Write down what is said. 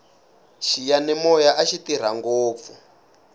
xiyanimoya axi tirha ngopfu